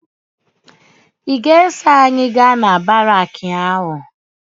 Ị ga-eso anyị gaa na baraakị ahụ?